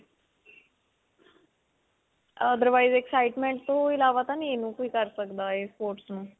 otherwise excitement ਤੋਂ ਅਲਾਵਾ ਤਾਂ ਨਹੀਂ ਕੋਈ ਕਰ ਸਕਦਾ ਇਹ sports ਨੂੰ.